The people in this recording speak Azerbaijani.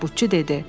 Tabutçu dedi.